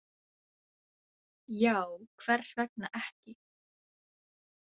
Já, hvers vegna ekki?